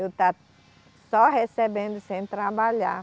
Eu estar só recebendo sem trabalhar.